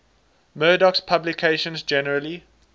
murdoch's publications generally